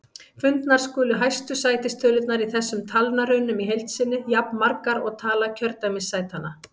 Fundnar skulu hæstu sætistölurnar í þessum talnarunum í heild sinni, jafnmargar og tala kjördæmissætanna.